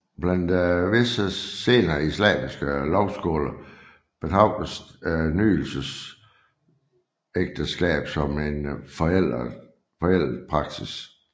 Blandt visse senere islamiske lovskoler betragtes nydelsesægteskab som en forældet praksis